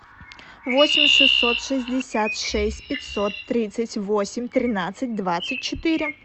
восемь шестьсот шестьдесят шесть пятьсот тридцать восемь тринадцать двадцать четыре